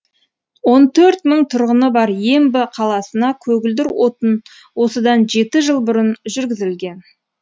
он төрт мың тұрғыны бар ембі қаласына көгілдір отын осыдан жеті жыл бұрын жүргізілген